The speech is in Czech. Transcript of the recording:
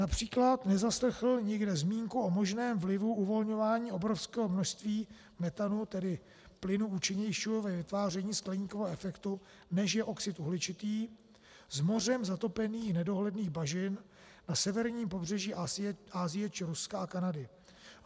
Například nezaslechl nikde zmínku o možném vlivu uvolňování obrovského množství metanu - tedy plynu účinnějšího ve vytváření skleníkového efektu, než je oxid uhličitý - z mořem zatopených nedohledných bažin na severním pobřeží Asie či Ruska a Kanady.